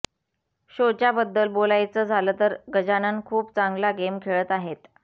शोच्या बद्दल बोलायचं झालं तर गजानन खूप चांगला गेम खेळत आहेत